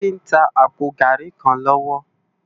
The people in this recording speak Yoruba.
Tobi n tá àpó gàrí kán lòwò